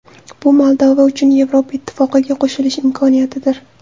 Bu Moldova uchun Yevropa Ittifoqiga qo‘shilish imkoniyatidir.